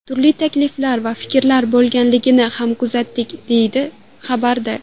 Turli takliflar va fikrlar bo‘lganligini ham kuzatdik, deyiladi xabarda.